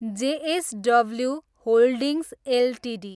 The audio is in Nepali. JSW holdings Ltd